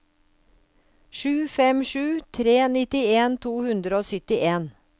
sju fem sju tre nittien to hundre og syttien